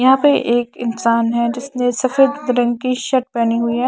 यहां पे एक इंसान है जिसने सफेद रंग की शर्ट पहनी हुई है .